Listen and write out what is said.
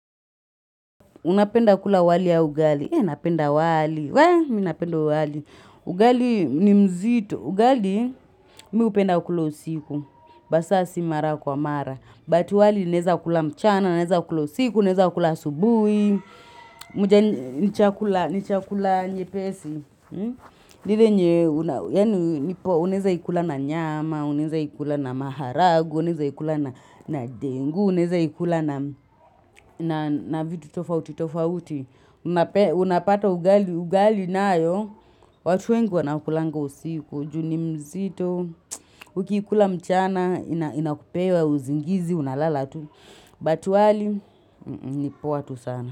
Unapenda kula wali ya ugali. Eh, napenda wali. We, minapenda wali. Ugali ni mzito. Ugali, mi upenda kula usiku. Basa, si mara kwa mara. But wali, naeza kula mchana, naeza kula usiku, naeza kula asubui. Mujani, nichakula, nichakula nyepesi. Ni ile yenye, unaeza ikula na nyama, unaeza ikula na maharagwe, unaeza ikula na dengu. Unaeza ikula na vitu tofauti tofauti unapata ugali na yo, watu wengi wanakulanga usiku, juu ni mzito uki ikula mchana inakupea, uzingizi unalala tu, but wali nipoa tu sana.